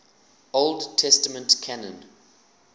old testament canon